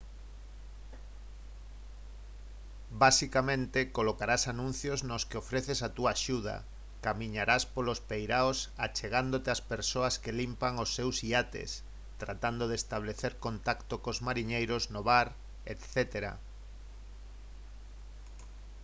basicamente colocarás anuncios nos que ofreces a túa axuda camiñarás polos peiraos achegándote ás persoas que limpan os seus iates tratando de establecer contacto cos mariñeiros no bar etc